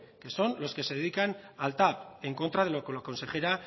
que son los que se dedican al tav en contra de lo que la consejera